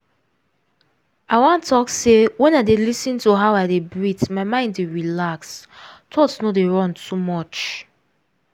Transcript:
i wan talk say wen i dey lis ten to how i de breath my mind dey relax thoughts no dey run too much.